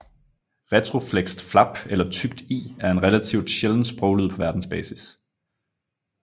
Retroflekst flap eller tykt l er en relativt sjælden sproglyd på verdensbasis